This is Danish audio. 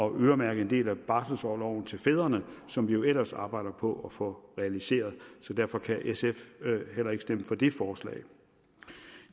øremærke en del af barselsorloven til fædrene som vi jo ellers arbejder på at få realiseret så derfor kan sf heller ikke stemme for det forslag